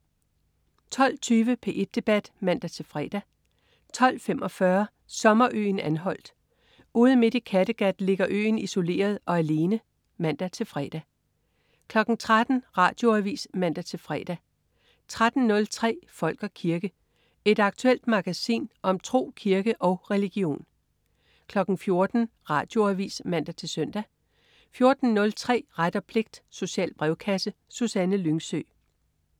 12.20 P1 Debat (man-fre) 12.45 Sommerøen Anholt. Ude midt i Kattegat ligger øen isoleret og alene (man-fre) 13.00 Radioavis (man-fre) 13.03 Folk og kirke. Et aktuelt magasin om tro, kirke og religion 14.00 Radioavis (man-søn) 14.03 Ret og pligt. Social brevkasse. Susanne Lyngsø